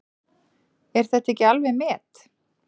Er þetta ekki alveg met!